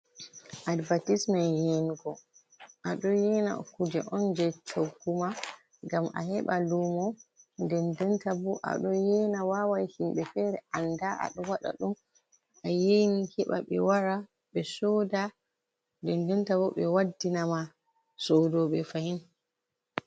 Advatismen je yenego ado yena kuje on je chogguma ngam a heɓa lumo dendenta bo aɗo yena wawai himɓe fere anda aɗo waɗa ɗum a yena heba be wara ɓe soda dendenta bo ɓe waddina ma sodo ɓe fahin.